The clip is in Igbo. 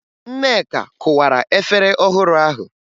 Nneka kụwara efere ọhụrụ ahụ